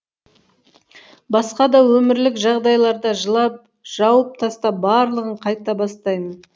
басқа да өмірлік жағдайларда жылап жауып тастап барлығын қайта бастаймын